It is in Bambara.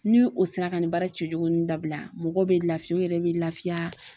Ni o sera ka nin baara cɛjugu nun dabila mɔgɔw bɛ laafiya u yɛrɛ bɛ laafiya.